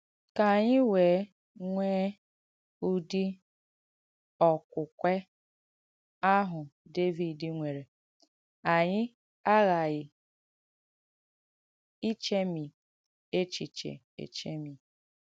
Ka ànyị wèe nwée ùdị̀ ọ̀kwụ̀kwē àhụ̀ Dèvìd nwērē, ànyị àghàghī ìchèmì èchēchī èchēmì.